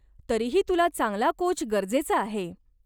तरीही तुला चांगला कोच गरजेचा आहे.